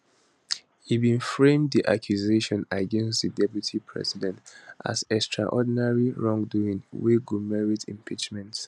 e bin frame di accusations against di deputy president as extraordinary wrongdoing wey go merit impeachment